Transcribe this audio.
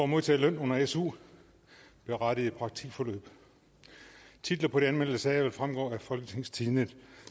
modtage løn under su berettigende praktikforløb titlerne på de anmeldte sager vil fremgå af folketingstidende